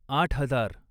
आठ हजार